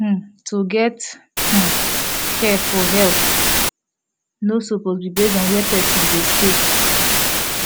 hmm to get um care for health no suppose be base on where person dey stay